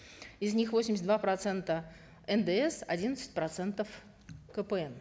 из них восемьдесят два процента ндс одиннадцать процентов кпн